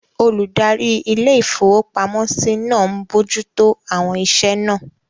Olùdarí ilé-ìfowópamọ́sí náà n bojú tó àwọn iṣẹ́ náà